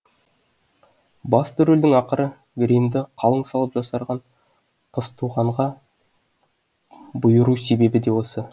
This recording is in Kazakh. басты рөлдің ақыры гримді қалың салып жасарған қызтуғанға бұйыру себебі де осы